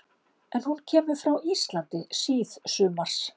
Er hún kemur frá Íslandi síðsumars